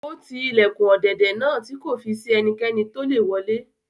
Ó ti ilẹ̀kùn ọ̀dẹ̀dẹ̀ náà tí kò fi si ẹnikẹ́ni tolè wọlé